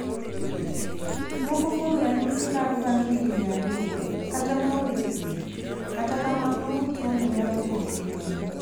Moko kuom ranyisi lal bang' higni ariyo (kata ma ong'e thieth)kata kamano tuo no nyalo duogo kendo.